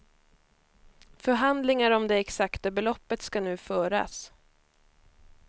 Förhandlingar om de exakta beloppet ska nu föras.